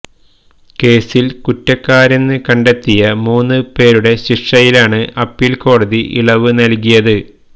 കേസിൽ കുറ്റക്കാരെന്ന് കണ്ടെത്തിയ മൂന്ന് പേരുടെ ശിക്ഷയിലാണ് അപ്പീൽ കോടതി ഇളവ് നൽകിയത്